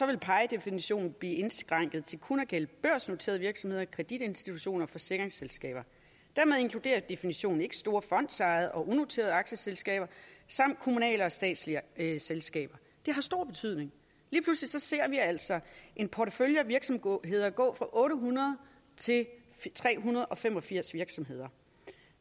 vil pie definitionen blive indskrænket til kun at gælde børsnoterede virksomheder kreditinstitutioner og forsikringsselskaber dermed inkluderer definitionen ikke store fondsejede og unoterede aktieselskaber samt kommunale og statslige selskaber det har stor betydning lige pludselig ser vi altså en portefølje af virksomheder gå fra otte hundrede til tre hundrede og fem og firs virksomheder